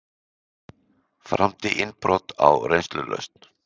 Framdi innbrot á reynslulausn